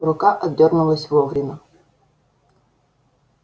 рука отдёрнулась вовремя